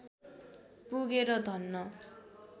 पुगेर धन्न